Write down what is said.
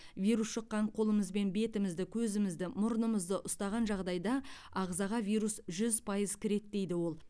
вирус жұққан қолымызбен бетімізді көзімізді мұрнымызды ұстаған жағдайда ағзаға вирус жүз пайыз кіреді дейді ол